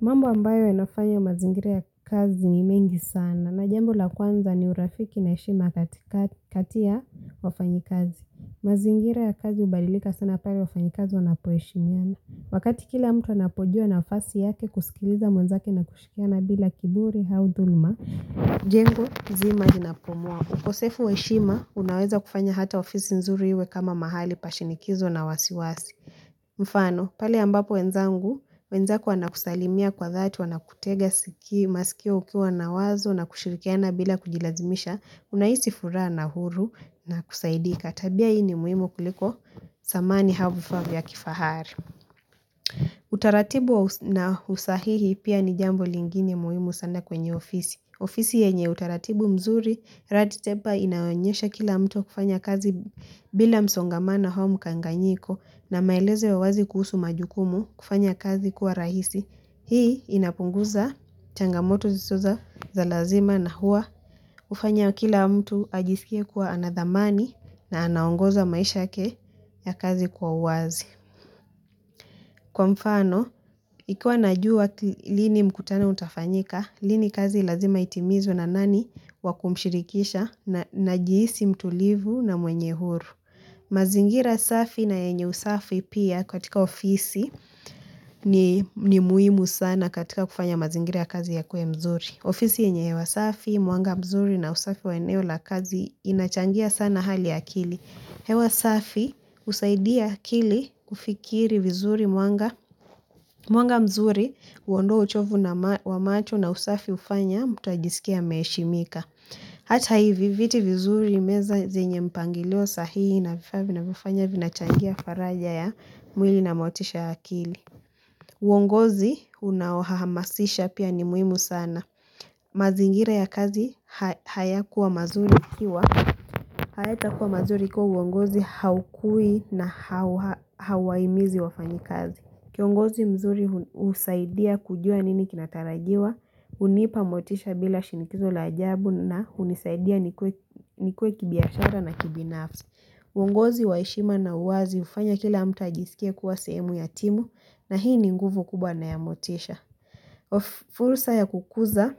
Mambo ambayo inafanya mazingira ya kazi ni mengi sana na jambo la kwanza ni urafiki na heshima kati ya wafanyikazi. Mazingira ya kazi hubalilika sana pale wafanyi kazi wanapoheshimiana. Wakati kila mtu anapojua nafasi yake kusikiliza mwenzake na kushikiana bila kiburi au dhuluma. Jengo zima linapomua. Ukosefu wa heshima unaweza kufanya hata ofisi nzuri iwe kama mahali pashinikizo na wasiwasi. Mfano, pale ambapo wenzangu, wenzako wana kusalimia kwa zaati wana kutega siki masikio ukiwa na wazo na kushirikiana bila kujilazimisha unahisi furaha na huru na kusaidika. Tabia hii ni muhimu kuliko zamani au vifava vya kifahari. Utaratibu na usahihi pia ni jambo lingine muhimu sana kwenye ofisi ofisi yenye utaratibu mzuri, ratitepa inaonyesha kila mtu kufanya kazi bila msongamano au mkanganyiko na maeleze wa wazi kuhusu majukumu kufanya kazi kuwa rahisi Hii inapunguza changamoto zizoza za lazima na hua ufanya kila mtu ajisikie kuwa anadhamani na anaongoza maisha yake ya kazi kwa wazi Kwa mfano, ikuwa najua lini mkutano utafanyika, lini kazi lazima itimizu na nani wakumshirikisha na jihisi mtulivu na mwenye huru. Mazingira safi na yenye usafi pia katika ofisi ni muhimu sana katika kufanya mazingira kazi yakuwe mzuri. Ofisi yenye hewa safi, mwanga mzuri na usafi wa eneo la kazi inachangia sana hali akili. Hewa safi usaidia akili ufikiri vizuri mwanga mzuri uondoa uchovu na wa macho na usafi ufanya mutajisikia meeshi mika. Hata hivi viti vizuri meza zenye mpangilio sahihi na vifaabvina vifanya vina changia faraja ya mwili na motisha ya akili. Uongozi unaohahamasisha pia ni muhimu sana. Mazingira ya kazi haya kuwa mazuri kiwa Hayata kuwa mazuri kwa uongozi haukui na hawaimizi wafanyi kazi Kiongozi mzuri husaidia kujua nini kinatarajiwa hunipa motisha bila shinikizo la ajabu na unisaidia nikue kibiashara na kibinafsi uongozi wa heshima na uwazi ufanya kila amta jisikia kuwa semu ya timu na hii ni nguvu kubwa na ya motisha fursa ya kukuza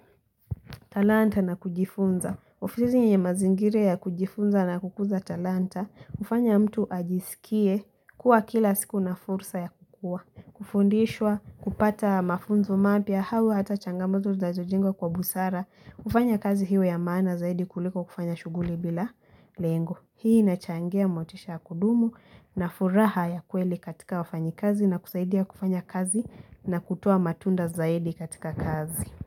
talanta na kujifunza ofisi ni mazingira ya kujifunza na kukuza talanta kufanya mtu ajisikie kuwa kila siku na fursa ya kukua Kufundishwa kupata mafunzo mapya hau hata changamoto zazo jenga kwa busara kufanya kazi hiyo ya maana zaidi kuliko kufanya shuguli bila lengo Hii nachangia motisha kudumu na furaha ya kweli katika wafanyi kazi na kusaidia kufanya kazi na kutua matunda zaidi katika kazi.